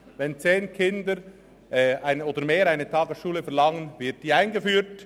Wenn zehn Kinder oder mehr eine Tagesschule verlangen, wird sie eingeführt.